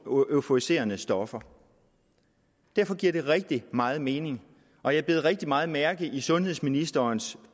og euforiserende stoffer derfor giver det rigtig meget mening og jeg bed rigtig meget mærke i sundhedsministerens